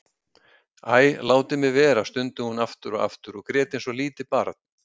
Æ, látið mig vera stundi hún aftur og aftur og grét eins og lítið barn.